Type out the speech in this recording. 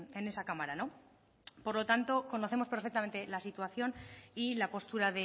en esa cámara por lo tanto conocemos perfectamente la situación y la postura